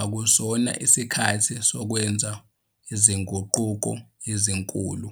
akusona isikhathi sokwenza izinguquko ezinkulu.